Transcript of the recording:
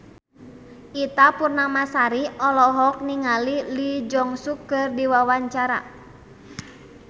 Ita Purnamasari olohok ningali Lee Jeong Suk keur diwawancara